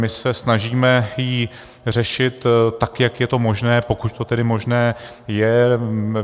My se snažíme ji řešit tak, jak je to možné, pokud to tedy možné je.